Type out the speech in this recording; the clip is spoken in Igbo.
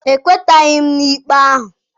Ekwetaghị m n'ikpe ahụ.